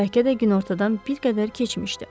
Bəlkə də günortadan bir qədər keçmişdi.